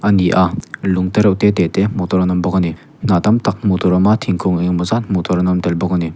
a ni a lung tereuh te te te hmuh an awm bawk a ni hnah tamtak hmuh tur a awm a thingkung engemawh zat hmuh tur an awm tel bawk a ni.